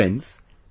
Friends,